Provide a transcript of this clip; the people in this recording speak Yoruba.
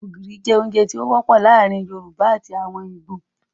Ògìrì jẹ́ ara ǹkan oúnjẹ tí ó wọ́pọ̀ láàrin àwon yorùbá àti ìgbò